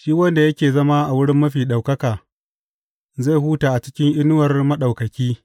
Shi wanda yake zama a wurin Mafi Ɗaukaka zai huta a cikin inuwar Maɗaukaki.